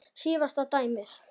Síðasta dæmið.